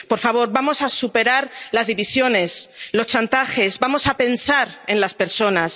Por favor, vamos a superar las divisiones, los chantajes, vamos a pensar en las personas.